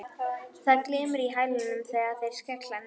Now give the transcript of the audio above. Það glymur í hælunum þegar þeir skella niður.